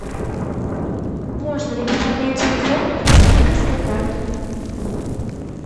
можно ли пополнять телефон с банковской карты